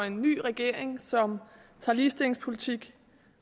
en ny regering som tager ligestillingspolitik